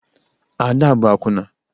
Ada bụ akwụna